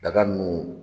Daga nunnu